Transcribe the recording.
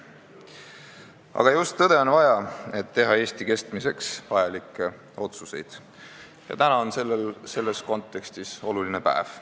" Aga just tõde on vaja, et teha Eesti kestmiseks vajalikke otsuseid, ja täna on selles kontekstis oluline päev.